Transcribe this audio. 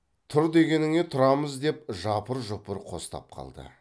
тұр дегеніңе тұрамыз деп жапыр жұпыр қостап қалды